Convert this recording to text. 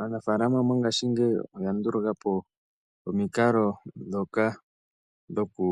Aanafalama mongashingeyi oya ndulukwapo omiikalo dhoka dhoku